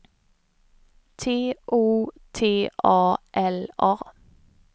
T O T A L A